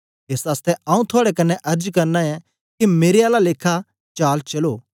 एस आसतै आऊँ थुआड़े कन्ने अर्ज करना ऐं के मेरे आला लेखा चाल चलो